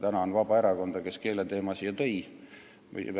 Tänan Vabaerakonda, kes keeleteema siia saali tõi!